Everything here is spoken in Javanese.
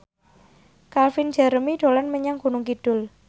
Calvin Jeremy dolan menyang Gunung Kidul